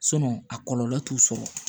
a kɔlɔlɔ t'u sɔrɔ